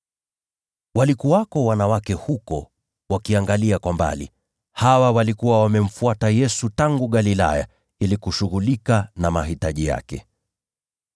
Walikuwako wanawake huko wakiangalia kwa mbali. Hawa walikuwa wamemfuata Yesu tangu Galilaya ili kushughulikia mahitaji yake.